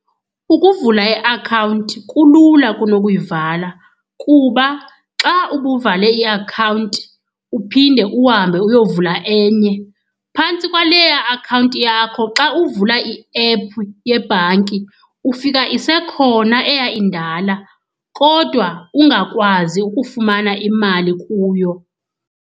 Ukuvula iakhawunti kulula kunokuyivala kuba xa ubuvale iakhawunti uphinde uhambe uyovula enye, phantsi kwaleya akhawunti yakho xa uvula iephu yebhanki, ufika isekhona eyayindala kodwa ungakwazi ukufumana imali kuyo.